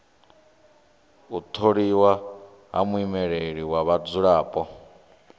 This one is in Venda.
u tholiwa ha muimeleli wa vhadzulapo